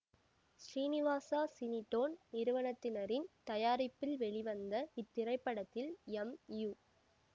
Srinivasa Cinetone நிறுவனத்தினரின் தயாரிப்பில் வெளிவந்த இத்திரைப்படத்தில் எம் யு